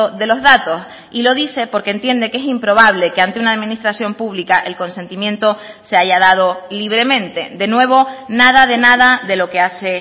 de los datos y lo dice porque entiende que es improbable que ante una administración pública el consentimiento se haya dado libremente de nuevo nada de nada de lo que hace